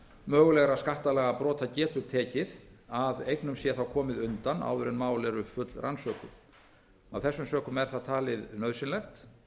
mögulegra skattalagabrota getur tekið að eignum sé komið undan áður en mál eru fullrannsökuð af þessum sökum er það talið nauðsynlegt